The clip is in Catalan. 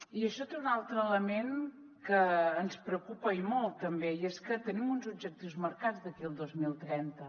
i això té un altre element que ens preocupa i molt també i és que tenim uns objectius marcats d’aquí al dos mil trenta